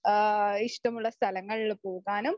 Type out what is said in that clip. ആഹ് ഇഷ്ടമുള്ള സ്ഥലങ്ങളില് പോകാനും